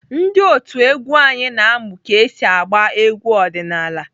Ndị otu egwu anyị na-amụ ka esi agba egwu ọdịnaala.